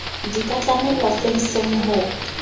di ka tlamellwa fenseng ho